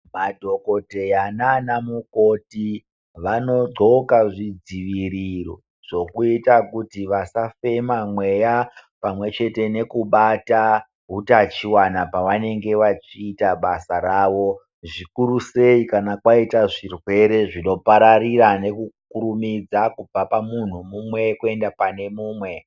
Madhogodheya nana mukoti vanodhloka zvidziviriro zvekuita kuti vasafema mweya pamwe chete nekubata hutachivana pavanenge vachita basa ravo. Zvikuru sei kana kwaita zvirwere zvinopararira nekukurumidza kubva pamuntu mumwe kuenda pane mumwe.